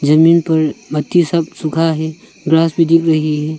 जमीन पर पत्ति सुखा है ग्रास भी दिख रही है।